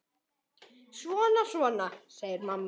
Svona, svona, segir mamma.